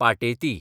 Pateti